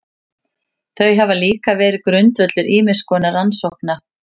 Þau hafa líka verið grundvöllur ýmiss konar rannsókna.